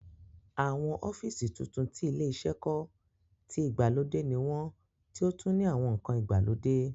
Awọn ọ́fìsì tuntun tí ilé iṣẹ́ kọ́, tí ìgbàlódé ní wọ́n tí ó tún ní àwọn ǹkan ìgbàlódé